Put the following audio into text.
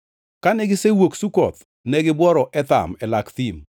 Kane gisewuok Sukoth, ne gibworo Etham e lak thim.